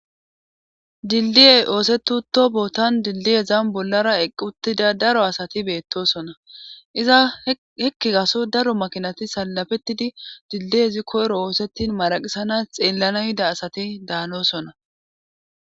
Dildiyey oosetu to bootan dildiyezan bollara eqquttida daro asati beettosona iza hekki gaso daro makinati salafettidi dildiyezi koyro oosettin maraqisanas xeellana hida asati daanosona.